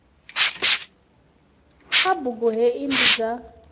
kha bugu hei ndi dza